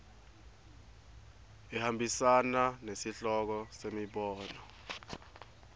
ihambisana nesihloko nemibono